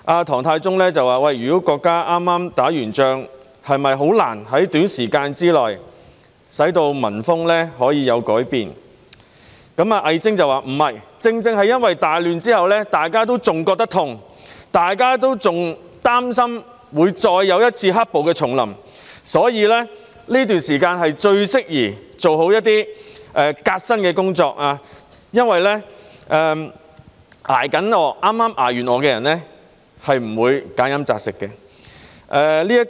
唐太宗問，如果國家剛結束戰爭，是否難以在短時間內令民風有所改變，魏徵則說不是。正正因為大亂之後，大家仍感到痛楚，仍擔心會再有一次"黑暴"重臨，所以這段時間最適宜做好革新的工作，因為剛剛捱過餓的人是不會挑吃揀喝的。